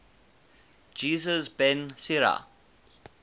jesus ben sira